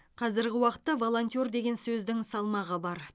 қазіргі уақытта волонтер деген сөздің салмағы бар